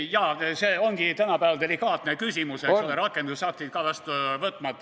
Jaa, see ongi tänapäeval delikaatne küsimus, eks ole, rakendusaktid ka vastu võtmata.